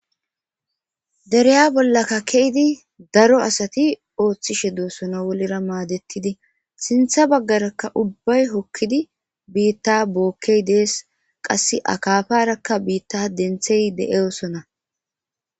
dereya bollakka keydi daro asati ooththishe doossona wolera maadettidi sintha baggarakka ubbay hokkidi biitta bookkey dees qasse akafarakka biitta denthey de7eyosona